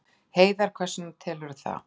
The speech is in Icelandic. Heiðar: Hvers vegna telurðu það?